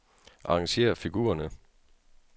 Arrangér figurerne.